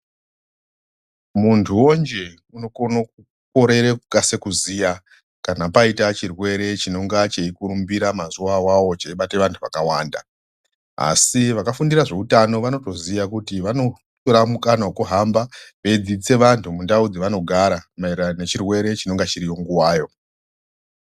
Muntu woo njee unokone kukorere kukasira kuziya kana paitawo chirwere chinonga cheijurumbira mazuva awawo cheibate wantu wakawanda asi vakafundira nezveutano vanotoziya kuti vanotora mukana wokuhamba veidzisise vantu mundau dzavanogara maererano nechirwere chinonga chiriyo nguvayo.